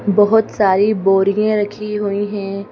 बहुत सारी बोरियां रखी हुई हैं।